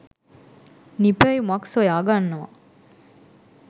නිපැයුමක් සොයාගන්නවා.